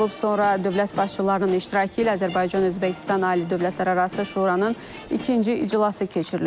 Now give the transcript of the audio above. Sonra dövlət başçılarının iştirakı ilə Azərbaycan-Özbəkistan ali dövlətlərarası şuranın ikinci iclası keçirilib.